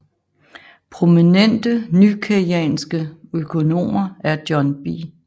Prominente nykeynesianske økonomer er John B